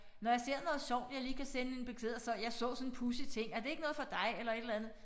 Når jeg ser noget sjovt jeg lige kan sende en besked og så jeg så sådan en pudsig ting er det ikke noget for dig eller et eller andet